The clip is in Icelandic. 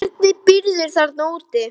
Hvernig býrðu þarna úti?